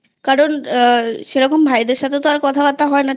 কারণ সেরকম ভাইদের সাথে কথাবার্তা হয় না